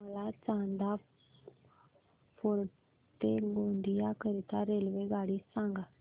मला चांदा फोर्ट ते गोंदिया करीता रेल्वेगाडी सांगा